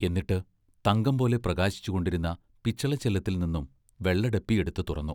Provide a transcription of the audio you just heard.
എന്നിട്ട് തങ്കം പോലെ പ്രകാശിച്ചു കൊണ്ടിരുന്ന പിച്ചളച്ചെല്ലത്തിൽനിന്നും വെള്ള ഡെപ്പി എടുത്തു തുറന്നു.